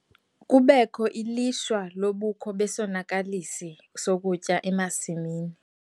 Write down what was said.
Kubekho ilishwa lobukho besonakalisi sokutya emasimini.